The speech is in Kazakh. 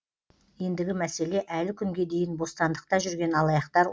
ендігі мәселе әлі күнге дейін бостандықта жүрген алаяқтар